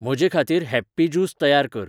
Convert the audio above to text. म्हजेखातीर happy juice तयार कर